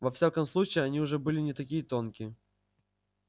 во всяком случае они уже были не такие тонкие